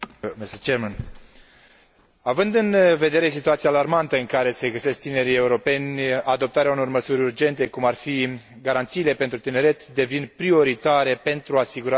Având în vedere situația alarmantă în care se găsesc tinerii europeni, adoptarea unor măsuri urgente, cum ar fi garanțiile pentru tineret, devine prioritară pentru asigurarea viitorului Uniunii Europene.